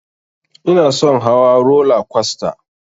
Inason hawa rola kwasta